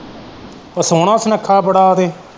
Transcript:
ਉਹ ਸੋਹਣਾ ਸੁਨੱਖਾ ਬੜਾ ਤੇ।